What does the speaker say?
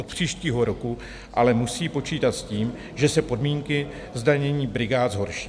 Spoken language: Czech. Od příštího roku ale musí počítat s tím, že se podmínky zdanění brigád zhorší.